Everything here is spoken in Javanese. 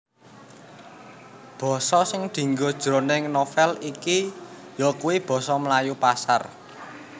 Basa sing dienggo jroning novèl iki yakuwi basa Melayu Pasar